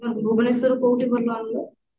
ଭୁବନେଶ୍ବରରେ କୋଉଠି ଭଲ ରହିବ